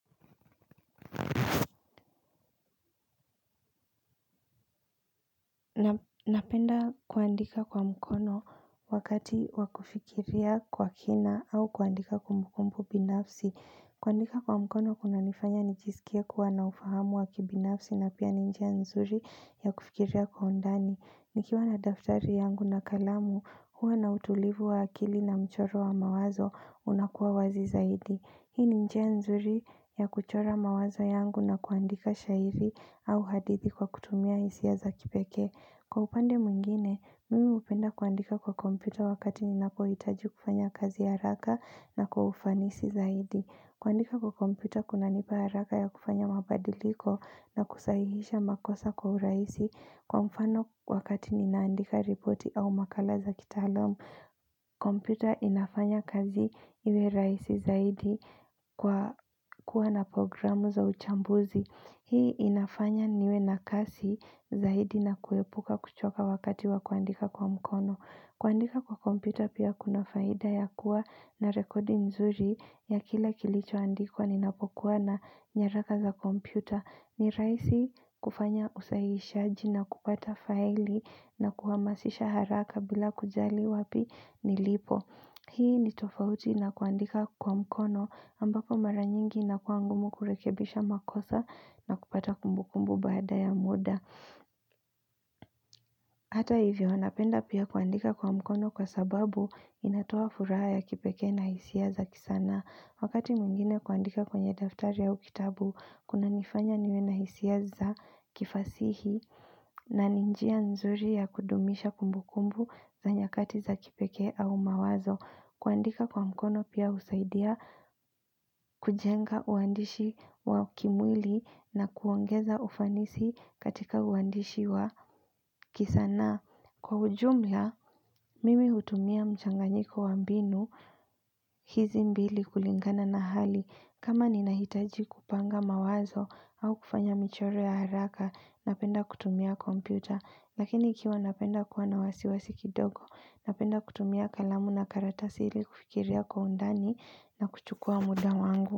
Napenda kuandika kwa mkono wakati wa kufikiria kwa kina au kuandika kumbukumbu binafsi kuandika kwa mkono kunanifanya nijisikie kuwa na ufahamu wa kibinafsi na pia ni njia nzuri ya kufikiria kwa undani Nikiwa na daftari yangu na kalamu huwa na utulivu wa akili na mchoro wa mawazo unakuwa wazi zaidi Hii ni njia nzuri ya kuchora mawazo yangu na kuandika shairi au hadithi kwa kutumia hisia za kipekee. Kwa upande mwingine, mimi hupenda kuandika kwa kompyuta wakati ninapohitaji kufanya kazi haraka na kwa ufanisi zaidi. Kuandika kwa kompyuta kunanipa haraka ya kufanya mabadiliko na kusahihisha makosa kwa urahisi kwa mfano wakati ninaandika ripoti au makala za kitaalam. Kompyuta inafanya kazi iwe rahisi zaidi kwa kuwa na programu za uchambuzi. Hii inafanya niwe na kasi zaidi na kuepuka kuchoka wakati wa kuandika kwa mkono kuandika kwa kompyuta pia kuna faida ya kuwa na rekodi nzuri ya kila kilicho andikwa ni napokuwa na nyaraka za kompyuta ni raisi kufanya usahishaji na kupata faili na kuhamasisha haraka bila kujali wapi nilipo Hii ni tofauti na kuandika kwa mkono ambako mara nyingi inakuwa ngumu kurekebisha makosa na kupata kumbu kumbu baada ya muda. Hata hivyo, napenda pia kuandika kwa mkono kwa sababu inatoa furaha ya kipekee na hisia za kisanaa. Wakati mwingine kuandika kwenye daftari au kitabu, kunanifanya niwe na hisia za kifasihi na ni njia nzuri ya kudumisha kumbu kumbu za nyakati za kipekee au mawazo. Kuandika kwa mkono pia husaidia kujenga uandishi wa kimwili na kuongeza ufanisi katika uandishi wa kisanaa. Kwa ujumla, mimi hutumia mchanganyiko wa mbinu hizi mbili kulingana na hali. Kama ninahitaji kupanga mawazo au kufanya michoro ya haraka, napenda kutumia kompyuta. Lakini ikiwa napenda kuwa na wasiwasi kidogo, napenda kutumia kalamu na karatasi ili kufikiria kwa undani na kuchukua muda wangu.